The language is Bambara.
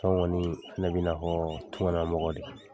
Sisan kɔni ne bi nafɔ tunga la mɔgɔ de.